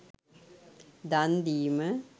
දන් දීම